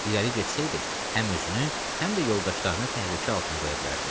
İrəli getsəydi, həm özünü, həm də yoldaşlarını təhlükə altına qoya bilərdi.